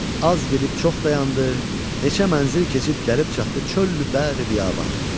Az gedib çox dayandı, neçə mənzil keçib gəlib çatdı çöllü bəhri-biabana.